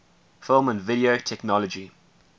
film and video technology